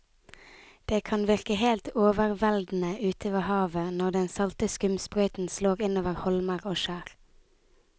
Det kan virke helt overveldende ute ved havet når den salte skumsprøyten slår innover holmer og skjær.